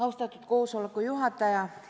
Austatud koosoleku juhataja!